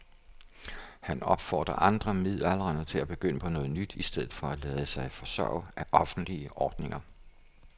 Han opfordrer andre midaldrende til at begynde på noget nyt i stedet for at lade sig forsørge af offentlige ordninger.